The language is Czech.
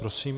Prosím.